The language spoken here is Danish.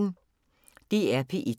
DR P1